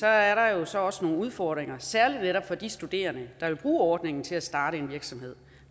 er der jo så også nogle udfordringer særlig netop for de studerende der vil bruge ordningen til at starte en virksomhed